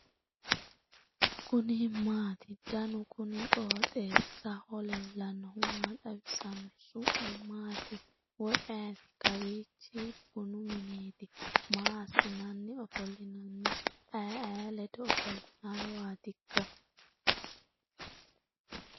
kuni maati ? danu kuni qooxeessaho leellannohu maa xawisanno su'mu maati woy ayeti ?kawiichi bunu mineti ? maa assinanni ofollinanni aye aye ledo ofollannowaatikka ?